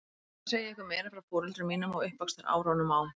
Ég ætla að segja ykkur meira frá foreldrum mínum og uppvaxtarárunum á